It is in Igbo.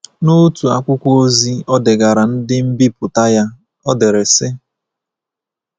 N’otu akwụkwọ ozi o degaara ndị nbipụta ya, o dere sị: